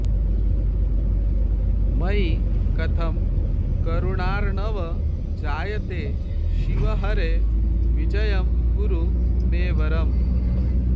मयि कथं करुणार्णव जायते शिव हरे विजयं कुरु मे वरम्